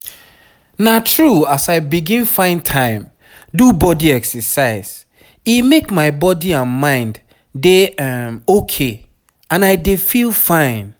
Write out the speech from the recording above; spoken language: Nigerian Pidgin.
na true as i begin find time do body exercise e make my body and mind dey um ok and i dey feel fine.